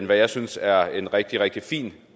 jeg synes er en rigtig rigtig fin